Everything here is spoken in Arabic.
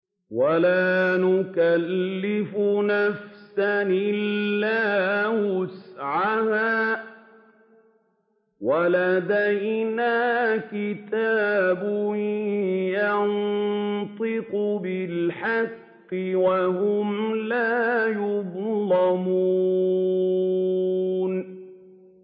وَلَا نُكَلِّفُ نَفْسًا إِلَّا وُسْعَهَا ۖ وَلَدَيْنَا كِتَابٌ يَنطِقُ بِالْحَقِّ ۚ وَهُمْ لَا يُظْلَمُونَ